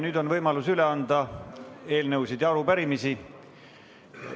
Nüüd on võimalus üle anda eelnõusid ja arupärimisi.